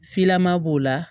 Filaman b'o la